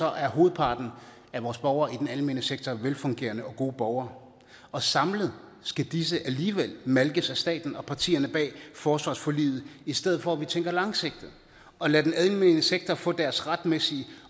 er hovedparten af vores borgere i den almene sektor velfungerende og gode borgere og samlet skal disse alligevel malkes af staten og partierne bag forsvarsforliget i stedet for at vi tænker langsigtet og lader den almene sektor få deres retmæssige